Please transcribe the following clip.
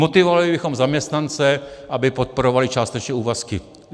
Motivovali bychom zaměstnance , aby podporovali částečné úvazky.